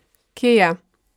Kje je?